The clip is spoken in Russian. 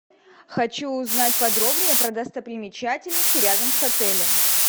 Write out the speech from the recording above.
хочу узнать подробнее про достопримечательности рядом с отелем